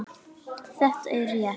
Þetta er rétt.